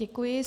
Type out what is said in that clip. Děkuji.